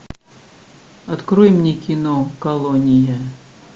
открой мне кино колония